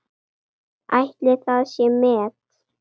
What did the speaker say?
Ætli það sé met?